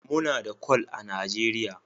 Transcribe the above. Muna da Kwal a Najeriya